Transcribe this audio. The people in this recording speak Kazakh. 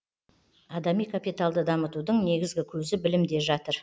адами капиталды дамытудың негізгі көзі білімде жатыр